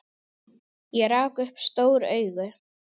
Ég rak upp stór augu.